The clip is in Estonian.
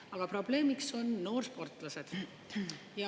Aga probleemiks on noorsportlased.